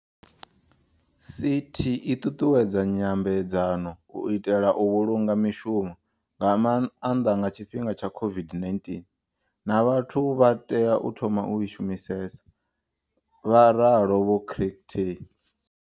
CT i ṱuṱuwedza nyambe dzano u itela u vhulunga mishumo, nga maanḓa nga tshifhinga tsha COVID-19, na vhathu vha tea u thoma u i shumisesa, vha ralo Vho Chicktay.